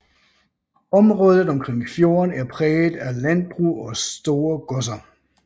Området omkring fjorden er præget af landbrug og store godser